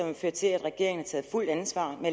har ført til at regeringen har taget fuldt ansvar og